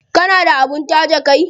Kana da abin taje kai?